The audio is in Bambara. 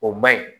O man ɲi